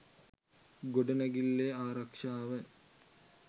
ගොඩනැගිල්ලේ ආරක්‍ෂාව